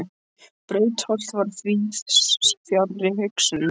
Brautarholt var víðs fjarri hugsunum Stjána.